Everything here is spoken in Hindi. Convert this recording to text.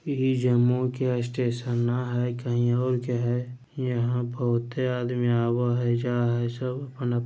इ जम्मूई के स्टेशन ने हेय कहीं और के हेय यहाँ बहुते आदमी आवा हेय जाय हेय सब अपन --